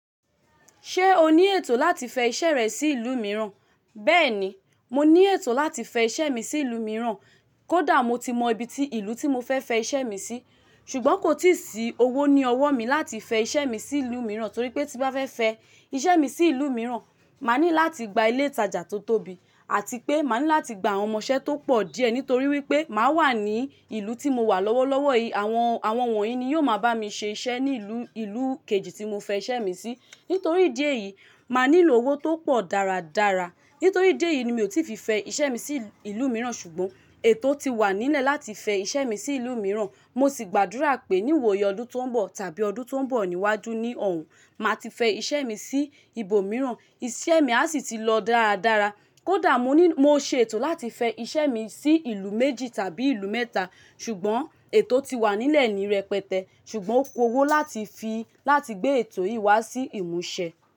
Ṣé o ní ètò láti fẹ iṣẹ́ rẹ sí ìlú mìíràn? Bẹ́ẹ̀ni, mo ní ètò láti fẹ iṣẹ́ mi sí ìlú mìíràn. Kódà mo ti mọ ibi tí ìlú tí mo fẹ́ fẹ iṣẹ́ mi sí. Ṣùgbọ́n kò tíì sí owó ní ọwọ́ mi láti fẹ iṣẹ́ mi sí ìlú mìíràn torí pé tí bá fẹ́ fẹ iṣẹ́ mi sí ìlú mìíràn, máa ní láti gba ilé ìtajà tó tóbi àti pé máa ní láti gba àwọn ọmọṣẹ́ tó pọ̀ díẹ̀ nítorí wípé máa wà ní ìlú tí mo wà lọ́wọ́lọ́wọ́ yìí. Àwọn, àwọn wọ̀nyí ni yóò máa bá mi ṣe iṣẹ́ ní ìlú, ìlú kejì tí mo fẹ́ iṣẹ́ mi sí. Nítorí idi eyì, máa nílò owó tó pọ̀ dáradára. Nítorí idi eyi ni mi ò tí fi fẹ iṣẹ́ mi sí ìlú mìíràn. Ṣùgbọ́n ètò ti wà nílẹ̀ láti fẹ iṣẹ́ mi sí ìlú mìíràn. Mo sì gbàdúrà pé ní ìwoyi ọdún tó ń bọ̀ tàbí ọdún tó ń bọ̀ níwájú ní ọ̀ hún, màá ti fẹ iṣẹ́ mi sí ibo mìíràn. Iṣẹ́ mi a sì ti lọ dáradára. Kódà mo ní, mo ṣe ètò láti fẹ iṣẹ́ mi sí ìlú méjì tàbí ìlú mẹ́ta, ṣùgbọ́n ètò ti wà nílẹ̀ ni rẹpẹtẹ. Ṣùgbọ́n ó ku owó láti fi, láti gbé ètò yìí wá sí ìmúṣẹ.